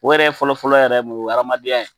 O wɛrɛ fɔlɔfɔlɔ yɛrɛ ye mun ye o ye adamadenya ye